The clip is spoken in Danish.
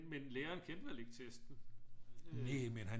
Men læreren kendte vel ikke testen